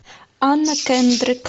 анна кендрик